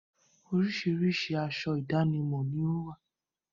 Oríṣiríṣi aṣọ ìdánimọ̀ ni ó wà.